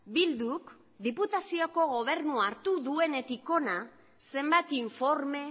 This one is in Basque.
bilduk diputazioko gobernua hartu duenetik hona zenbat informe